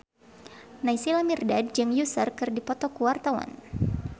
Naysila Mirdad jeung Usher keur dipoto ku wartawan